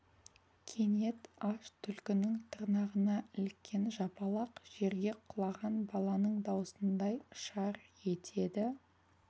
кенет аш түлкінің тырнағына іліккен жапалақ жерге құлаған баланың даусындай шар етеді